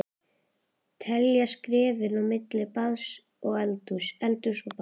Telja skrefin á milli baðs og eldhúss, eldhúss og baðs.